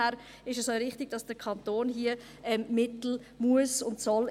Deshalb ist es auch richtig, dass der Kanton dafür Mittel investieren muss und soll.